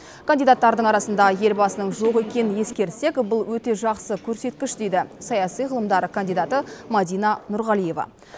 кандидаттардың арасында елбасының жоқ екенін ескерсек бұл өте жақсы көрсеткіш дейді саяси ғылымдар кандидаты мадина нұрғалиева